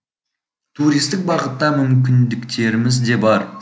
туристік бағытта мүмкіндіктеріміз де бар